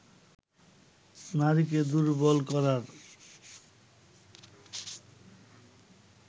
নারীকে দুর্বল করার